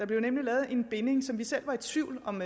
blev lavet en binding som vi selv var i tvivl om